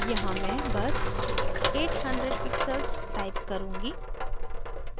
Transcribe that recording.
यहाँ मैं बस 800 pixels type करुँगी